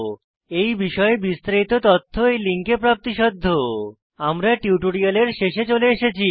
এই বিষয়ে বিস্তারিত তথ্য এই লিঙ্কে প্রাপ্তিসাধ্য httpspoken tutorialorgNMEICT Intro আমরা টিউটোরিয়ালের শেষে চলে এসেছি